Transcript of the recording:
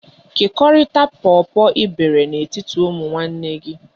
Kekọrịta pọpọ ị bere n'etiti ụmụnne gị!